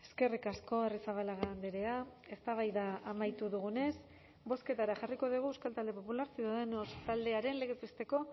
eskerrik asko arrizabalaga andrea eztabaida amaitu dugunez bozketara jarriko dugu euskal talde popular ciudadanos taldearen legez besteko